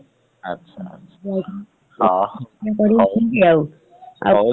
ଆଛା ଆଛା ହଉ ହଉ ଆଉ